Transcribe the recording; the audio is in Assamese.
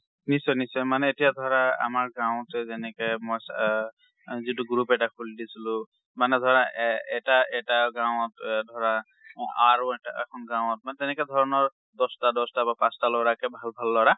নিশ্চয়। নিশ্চয়। মানে এতিয়া ধৰা আমাৰ গাঁৱতে যেনেকে মই চ আ যিটো group এটা খুলি দিছিলোঁ। মানে ধৰা এ এটা~ এটা গাঁৱত এ ধৰা, আৰু এটা~ এখন গাঁৱত, মানে তেনেকে ধৰনৰ দস্তা দস্তা বা পাঁচটা পাঁচটাকে ভাল ভাল লৰা।